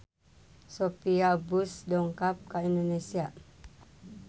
Sophia Bush dongkap ka Indonesia